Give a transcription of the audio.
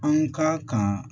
An ka kan